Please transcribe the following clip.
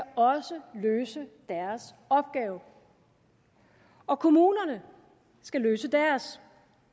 også løse deres opgave og kommunerne skal løse deres